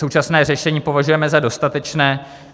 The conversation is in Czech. Současné řešení považujeme za dostatečné.